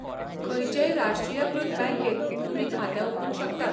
खंयचेय राष्ट्रीयकृत बँकेंत तुमी खातें उगडूंक शकतात.